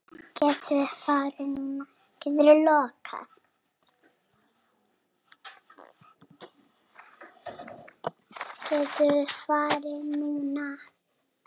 Getum við farið núna?